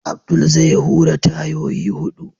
Abdul zai hura tayoyi hudu.